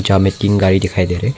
यहां में तीन गाड़ी दिखाई दे रही--